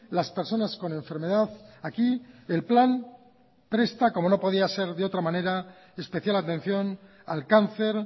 las personas con enfermedad aquí el plan presta como no podía ser de otra manera especial atención al cáncer